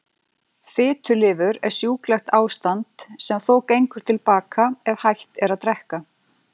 Fitulifur er sjúklegt ástand sem þó gengur til baka ef hætt er að drekka.